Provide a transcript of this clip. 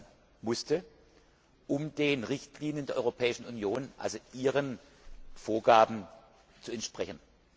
ergänzt werden, um den Richtlinien der Europäischen Union, also Ihren Vorgaben zu entsprechen.